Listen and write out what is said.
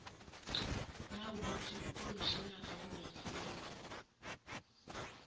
nayikuthi ukomitjhinara weemfungo